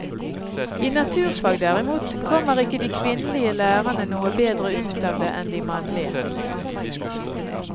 I naturfag derimot kommer ikke de kvinnelige lærerne noe bedre ut av det enn de mannlige.